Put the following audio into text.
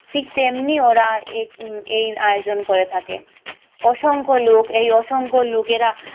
ঠিক তেমনি ওরা এই এই আয়োজন করে থাকে। অসংখ লোক এই অসংখ লোকেরা,